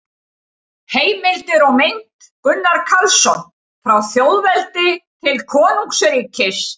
Heimildir og mynd: Gunnar Karlsson: Frá þjóðveldi til konungsríkis